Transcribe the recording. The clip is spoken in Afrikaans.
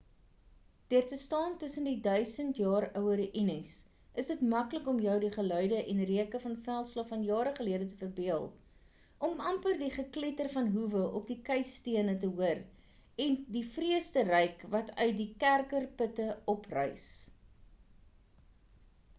deur te staan tussen die duisend jare oue ruïnes is dit maklik om jou die geluide en reuke van veldslae van jare gelede te verbeel om amper die gekletter van hoewe op die keistene te hoor en die vrees te ruik wat uit die kerker putte opreis